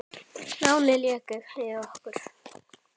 Lánið lék við okkur.